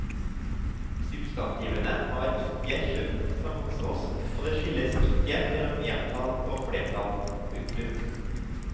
Substantivene har ikke kjønn som hos oss og det skilles ikke mellom entall og flertall. punktum